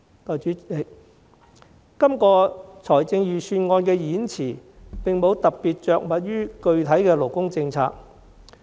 代理主席，預算案演辭並無特別着墨於具體勞工政策。